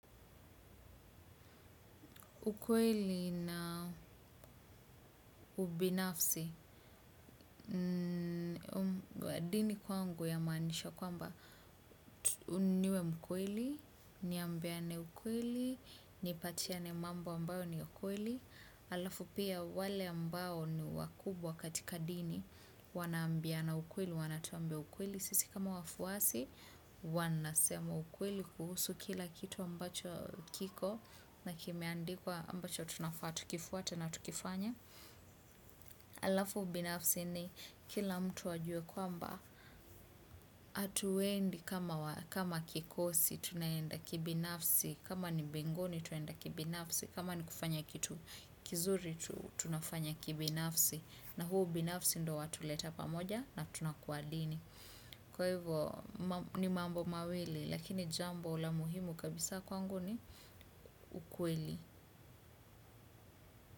Ukweeli na ubinafsi, dini kwangu yamaanisha kwamba tu niwe mkweli, niambiane ukweli, nipatie mambo ambayo niya kweli, alafu pia wale ambao ni wakubwa katika dini, wanaambiana ukweli, wanatuambia ukweli. Sisi kama wafuasi wanasema ukweli kuhusu kila kitu ambacho kiko na kimeandikwa ambacho tunafaa tukifuate na tukifanye. Alafu ubinafsi ni kila mtu ajue kwambaa atuendi kama wa kama kikosi tunaenda kibinafsi kama ni mbinguni tunaenda kibinafsi, kama ni kufanya kitu kizuri tunafanya kibinafsi na huu ubinafsi ndo watuleta pamoja na tunakua dini kwa hivyoo ni mambo mawili lakini jambo la muhimu kabisa kwangu ni ukweli.